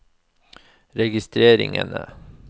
registreringene